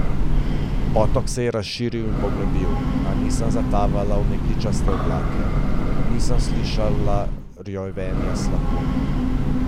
Potok se je razširil in poglobil, a nisem zatavala v megličaste oblake, nisem slišala rjovenja slapu.